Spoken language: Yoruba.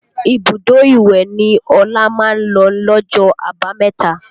Ibùdó ìwẹ̀ ni Ọlá máa ń lọ lọ́jọ́ àbámẹ̀ta